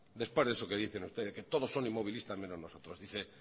después de eso que dicen ustedes que todos son inmovilistas menos nosotros dice